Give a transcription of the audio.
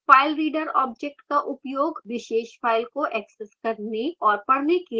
filereader object का उपयोग विशेष file को access करने और पढ़ने के लिए किया जा सकता है